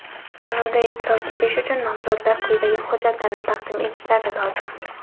Tanlovda ishtirok etish uchun nomzodlar quyidagi hujjatlarni taqdim etishlari lozim:.